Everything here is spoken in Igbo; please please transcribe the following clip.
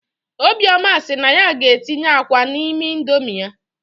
Obioma sị na ya ga- etinye àkwá n'Indomi ya